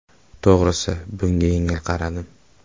To‘g‘risi bunga yengil qaradim.